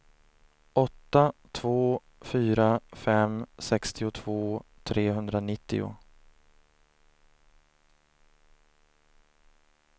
åtta två fyra fem sextiotvå trehundranittio